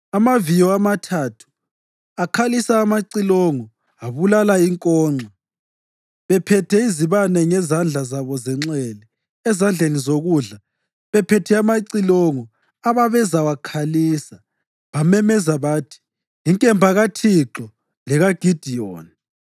Amaviyo amathathu akhalisa amacilongo abulala inkonxa. Bephethe izibane ngezandla zabo zenxele, ezandleni zokudla bephethe amacilongo ababezawakhalisa, bamemeza bathi, “Inkemba kaThixo lekaGidiyoni!”